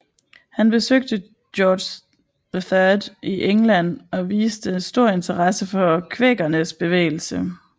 Han besøgte George III i England og viste stor interesse for kvækernes bevægelse